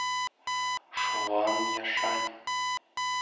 шуанъяшань